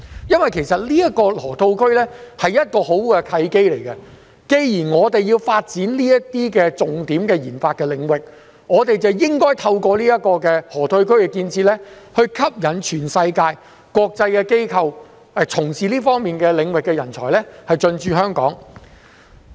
因為，這個河套區是一個很好的契機，既然我們要發展這些重點研發領域，便應該透過河套區建設來吸引全世界國際機構、從事這方面領域的人才進駐香港。